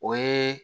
O ye